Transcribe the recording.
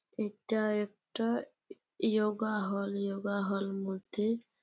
এটা একটা ই ইয়োগা হল । ইয়োগা হল মধ্যে--